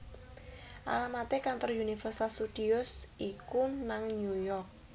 Alamat e kantor Universal Studios iku nang New York